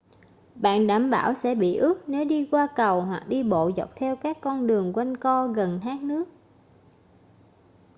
bạn đảm bảo sẽ bị ướt nếu đi qua cầu hoặc đi bộ dọc theo các con đường quanh co gần thác nước